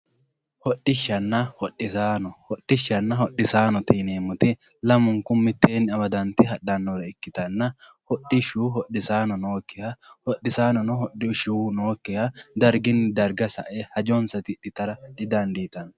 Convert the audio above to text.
Hodhishanna hodhisaano, hodhishanna hodhissaannote yineemotti lamunku miteenni amadante hadhannorre ikkitanna, hodhishu hodhissaano nookiha, hodhissaanonno hodhishu nookiha darigini dariga sae hajjonsa tidhitara didanditanno